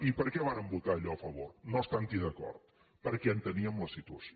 i per què vàrem votar allò a favor no estant hi d’acord perquè enteníem la situació